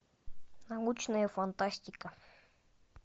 научная фантастика